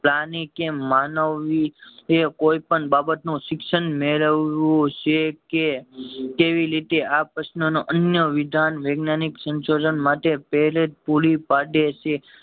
પ્રાણી કે માનવી એ કોઈ પણ બાબત નું શિક્ષણ મેળવું છે કે કેવી રીતે આ પ્રશ્ન નો અન્ય વિધાન વિજ્ઞાનિક સંશોધન માટે પુરી પડે છે